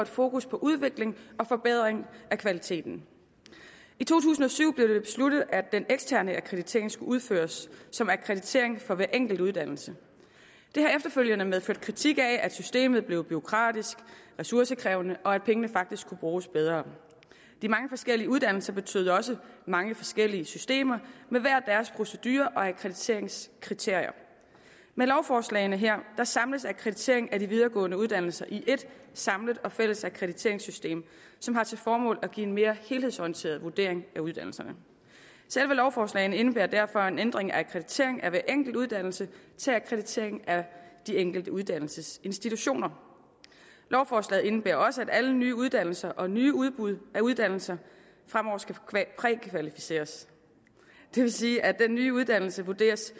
fokus på udvikling og forbedring af kvaliteten i to tusind og syv blev det besluttet at den eksterne akkreditering skulle udføres som akkreditering for hver enkelt uddannelse det har efterfølgende medført kritik af at systemet blev bureaukratisk og ressourcekrævende og at pengene faktisk kunne bruges bedre de mange forskellige uddannelser betød også mange forskellige systemer med hver deres procedure og akkrediteringskriterier med lovforslagene her samles akkrediteringen af de videregående uddannelser i ét samlet og fælles akkrediteringssystem som har til formål at give en mere helhedsorienteret vurdering af uddannelserne selve lovforslagene indebærer derfor en ændring fra akkreditering af hver enkelt uddannelse til akkreditering af de enkelte uddannelsesinstitutioner lovforslagene indebærer også at alle nye uddannelser og nye udbud af uddannelser fremover skal prækvalificeres det vil sige at den nye uddannelse vurderes